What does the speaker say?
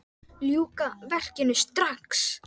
Ljúka verkinu strax!